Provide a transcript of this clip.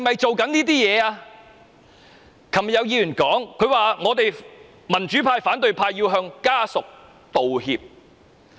昨天有議員說，我們民主派、反對派要向潘女士的家屬道歉。